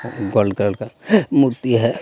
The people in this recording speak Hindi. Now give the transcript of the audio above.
गोल्ड कलर का मूर्ति है.